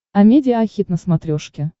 амедиа хит на смотрешке